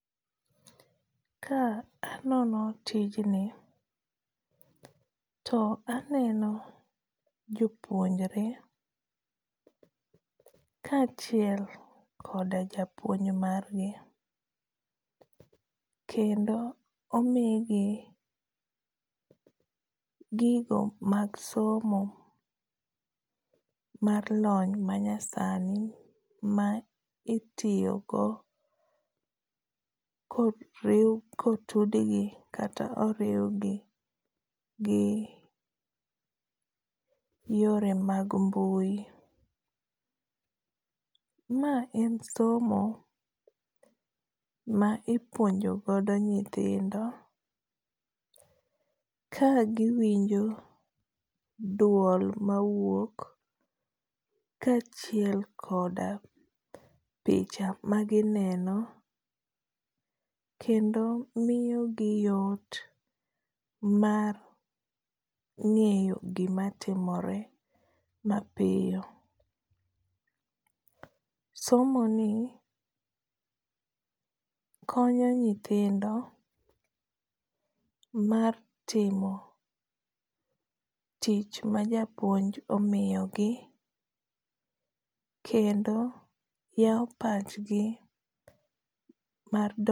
Ka anono tijni, to aneno jopuonjore ka achiel koda japuonj margi. Kendo omi gi gigo mag somo mar lony manyasani ma itiyogo ka oriw, ka otudgi kata oriwgi gi yore mag mbui. Ma en somo ma ipuonjo godo nyithindo ka giwinjo duol ma wuok ka achiel koda picha ma gineno kendo miyo gi yot mar ngéyo gima timore mapiyo. Somoni konyo nyithindo mar timo tich ma japuonj omiyogi, kendo yao pachgi mar